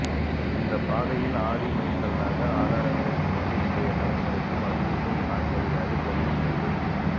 இந்தப் பாதையில் ஆதி மைல் கல்லாக ஆதாரங்களைச் சுமந்து இன்றைய தலைமுறைக்கும் அறிவூட்டும் தாய்மடியாக விளங்குகிறது